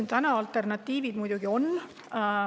Ma ütlesin, et alternatiive muidugi on.